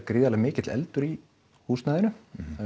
gríðarlega mikill eldur í húsnæðinu